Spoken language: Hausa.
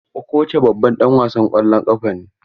Okocha babban ɗan wasan ƙwallon ƙafa ne.